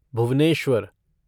Bhubaneswar